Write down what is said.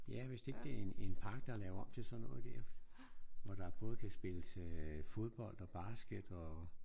Ja hvis det ikke det er en en park der er lavet om til sådan noget der. Hvor der både kan spilles øh fodbold og basket og